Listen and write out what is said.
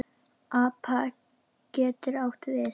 APA getur átt við